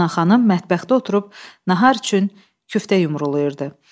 Ana xanım mətbəxdə oturub nahar üçün küftə yumrulayırdı.